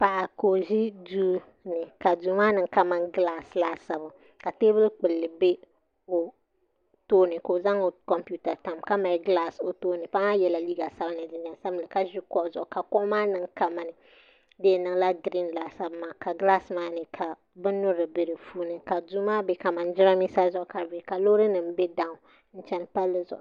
Paɣa ka o ʒi duu ka Duu maa niŋ kamani gilaas laasabu ka teebuli kpulli bɛ o tooni ka o zaŋ o kompiuta tam ka mali gilaas o tooni paɣa maa yɛla liiga sabinli ni jinjɛm sabinli ka ʒo kuɣu zuɣu ka kuɣu maa niŋ kamani di yɛn niŋla giriin laasabu maa ka gilaas maa ni ka bin nyurili bɛ di puuni ka duu maa niŋ kamani jiranbiisa laasabu maa